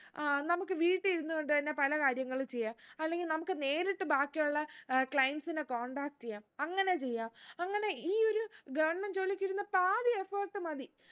ആ നമുക്ക് വീട്ടി ഇരുന്ന് കൊണ്ട് തന്നെ പല കാര്യങ്ങളും ചെയ്യാ അല്ലെങ്കിൽ നമ്മക്ക് നേരിട്ട് ബാക്കിയുള്ള ഏർ clients നെ contact എയ്യാം അങ്ങനെ ചെയ്യാ അങ്ങനെ ഈ ഒരു government ജോലിക്കിടുന്ന പാതി effort മതി